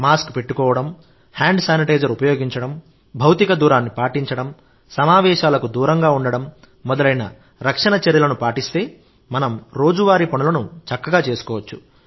mask పెట్టుకోవడం hand sanitizer ఉపయోగించడం భౌతిక దూరాన్ని పాటించడం సమావేశాలకు దూరంగా ఉండడం మొదలైన రక్షణ చర్యలను పాటిస్తే మనం రోజువారీ పనులను చక్కగా చేసుకోవచ్చు